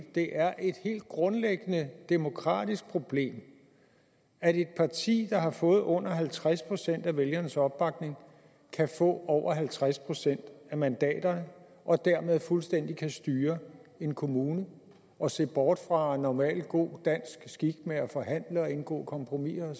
det er et helt grundlæggende demokratisk problem at et parti der har fået under halvtreds procent af vælgernes opbakning kan få over halvtreds procent af mandaterne og dermed fuldstændig kan styre en kommune og se bort fra normal god dansk skik med at forhandle og indgå kompromiser